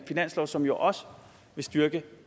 finanslov som jo også vil styrke